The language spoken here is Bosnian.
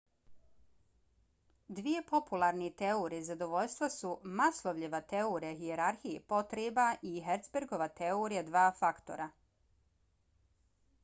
dvije popularne teorije zadovoljstva su maslowljeva teorija hijerarhije potreba i herzbergova teorija dva faktora